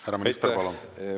Härra minister, palun!